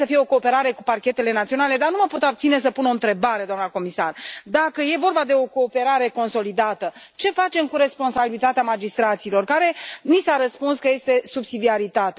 Trebuie să fie o cooperare cu parchetele naționale, dar nu mă pot abține să nu pun o întrebare, doamnă comisar dacă e vorba de o cooperare consolidată, ce facem cu responsabilitatea magistraților, care, ni s a răspuns că aparține domeniului subsidiarității?